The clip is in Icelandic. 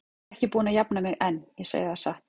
Ég er ekki búin að jafna mig enn, ég segi það satt.